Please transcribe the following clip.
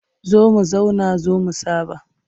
Zo mu zauna zo mu saɓa.